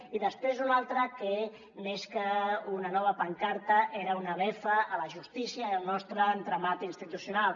i després una altra que més que una nova pancarta era una befa a la justícia al nostre entramat institucional